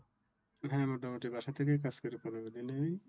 এখানে মোটামুটি বাসা থেকেই কাজ করি পনেরো দিন।